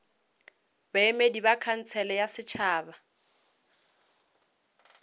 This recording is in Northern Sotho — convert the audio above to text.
baemedi ba khansele ya setšhaba